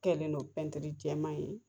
Kɛlen'o jɛman ye